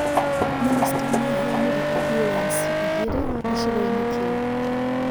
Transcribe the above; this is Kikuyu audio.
Mĩnĩsta nĩ aheanire ambulanĩcĩ igĩrĩ gĩcigo-inĩ kĩu